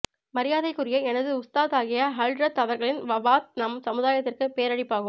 மரியாதைக்குரிய எனது உஸ்தாதாகிய ஹழ்ரத் அவர்களின் வபாத் நம் சமுதாயத்திற்கு பேரிழப்பாகும்